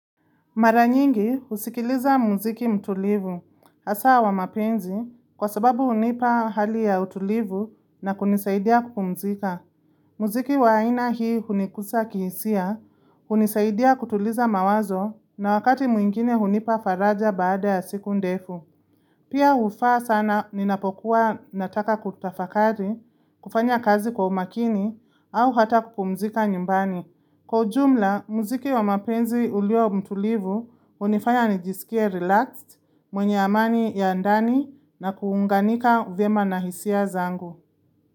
Mara nyingi husikiliza muziki mtulivu, hasa wa mapenzi, kwa sababu hunipa hali ya utulivu na kunisaidia kukupumzika. Muziki wa ina hii hunikusa kihisia, hunisaidia kutuliza mawazo na wakati mwingine hunipa faraja baada ya siku ndefu. Pia ufaa sana ninapokuwa nataka kutafakari, kufanya kazi kwa umakini, au hata kukupumzika nyumbani. Kwa jumla, muziki wa mapenzi ulio mtulivu hunifanya nijisikie relaxed, mwenye amani ya ndani na kuunganika uvyema na hisia zangu.